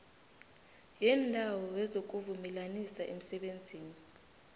yeendawo wezokuvumelanisa emsebenzini